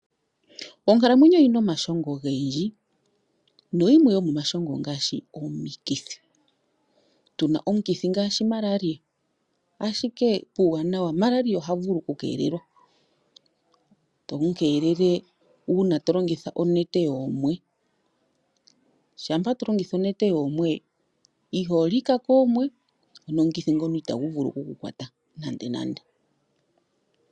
Onkalamwenyo oyi na omashongo ogendji na yimwe yomomashongo ongaashi omikithi. Tuna omukithi ngaashi Malaria, ashike puuwanawa Malaria oha vulu oku keelelwa, to mu keelele uuna to longitha onete yoomwe. Shampa tolongitha onete yoomwe, iho lika koomwe, ano omukithi ngoka ita gu vulu oku ku kwatwa nande nande.